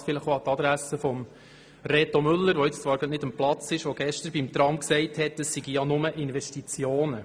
Das an die Adresse von Grossrat Müller, der zwar gerade nicht an seinem Platz sitzt, aber gestern beim Tram sagte, es gehe ja nur um Investitionen.